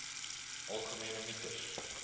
algemene mites